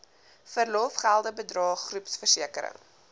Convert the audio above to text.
verlofgelde bydrae groepversekering